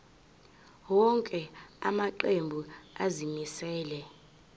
wonke amaqembu azimisela